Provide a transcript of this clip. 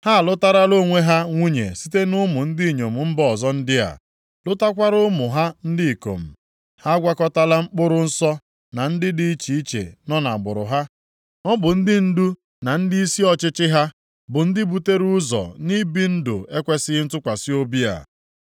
Ha alụtarala onwe ha nwunye site nʼụmụ ndị inyom mba ọzọ ndị a, lụtakwara ụmụ ha ndị ikom. Ha agwakọtala mkpụrụ nsọ na ndị dị iche iche nọ ha gburugburu. Ọ bụ ndị ndu na ndịisi ọchịchị ha bụ ndị butere ụzọ nʼibi ndụ ekwesighị ntụkwasị obi a.”